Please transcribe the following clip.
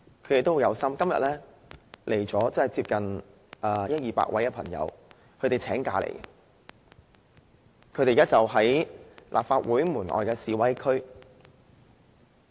他們都很有心，今天有一二百人請假到來，現時就在立法會門外的示威區。